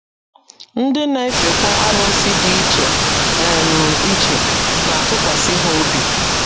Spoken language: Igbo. Ndị na - efekwa arụsị dị iche um iche na - atụkwasị ha obi.